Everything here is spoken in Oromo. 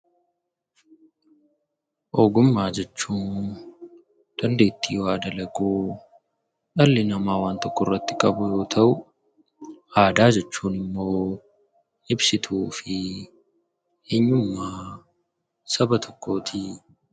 Ogummaa jechuun dandeettii waa dalaguu dhalli namaa waan tokko irratti qabu yoo ta'u; Aadaa jechuun immoo ibsituu fi eenyummaa saba tokkoo ti.